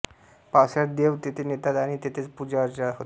पावसाळ्यांत देव तेथे नेतात आणि तेथेच पूजाअर्चा होते